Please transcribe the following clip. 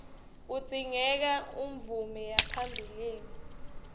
kudzingeka umvume yaphambilini